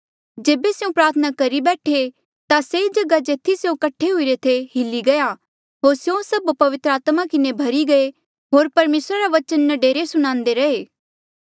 जेबे स्यों प्रार्थना करी बैठे ता से जगहा जेथी स्यों कठे हुईरे थे हिल्ली गया होर स्यों सभ पवित्र आत्मा किन्हें भर्ही गऐ होर परमेसरा रा बचन न्डरे सुणान्दे रैहे